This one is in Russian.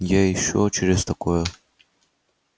я ещё и не через такое